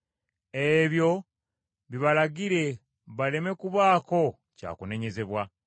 Ebyo bibalagire, baleme kubaako kya kunenyezebwa.